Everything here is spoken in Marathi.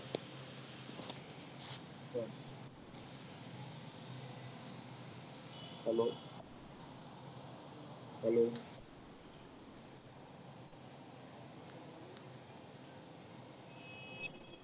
hello hello